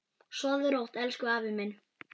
Sofðu rótt, elsku afi minn.